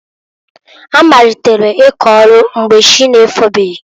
Ha malitere ịkọ ọlụ mgbe chị na-efobeghi.